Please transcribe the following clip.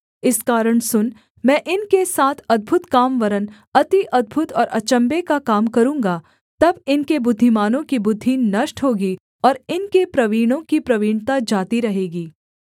इस कारण सुन मैं इनके साथ अद्भुत काम वरन् अति अद्भुत और अचम्भे का काम करूँगा तब इनके बुद्धिमानों की बुद्धि नष्ट होगी और इनके प्रवीणों की प्रवीणता जाती रहेगी